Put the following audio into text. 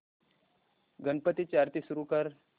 गणपती ची आरती सुरू कर